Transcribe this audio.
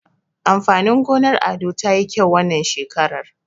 Amfanin gonar Ado tayi kyau wannan shekaran.